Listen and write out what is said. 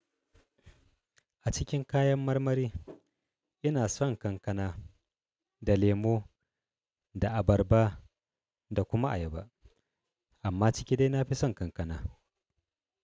A cikin kayan marmari ina son kankana da lemo da abarba da kuma ayaba. Amma ciki dai nafi son kankana.